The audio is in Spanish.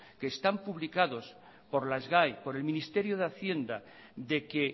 que están publicados por la sgae por el ministerio de hacienda de que